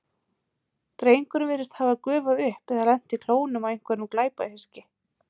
Drengurinn virðist hafa gufað upp eða lent í klónum á einhverju glæpahyski.